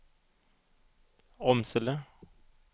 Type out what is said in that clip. Åmsele